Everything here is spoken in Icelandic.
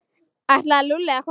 Ætlaði Lúlli að koma?